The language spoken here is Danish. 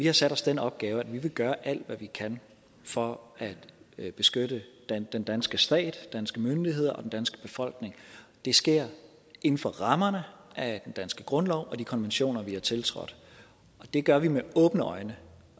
har sat os den opgave at vi vil gøre alt hvad vi kan for at beskytte den danske stat danske myndigheder og den danske befolkning og det sker inden for rammerne af den danske grundlov og de konventioner vi har tiltrådt og det gør vi med åbne øjne